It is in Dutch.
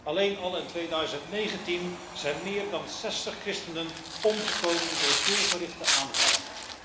Alleen al in 2019 zijn meer dan 60 christenen omgekomen door doelgerichte aanvallen.